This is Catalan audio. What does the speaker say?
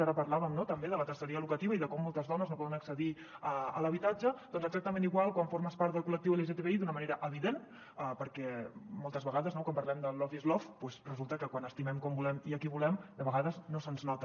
ara parlàvem també de la terceria locativa i de com moltes dones no poden accedir a l’habitatge doncs és exactament igual quan formes part del col·lectiu lgtbi d’una manera evident perquè moltes vegades quan parlem del love is love resulta que quan estimem com volem i qui volem de vegades no se’ns nota